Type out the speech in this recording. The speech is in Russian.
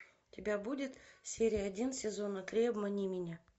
у тебя будет серия один сезона три обмани меня